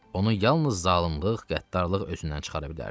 Onu yalnız zalımlıq, qəddarlıq özündən çıxara bilərdi.